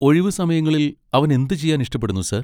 ഒഴിവുസമയങ്ങളിൽ അവൻ എന്തുചെയ്യാൻ ഇഷ്ടപ്പെടുന്നു, സർ?